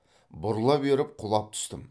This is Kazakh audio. бұрыла беріп құлап түстім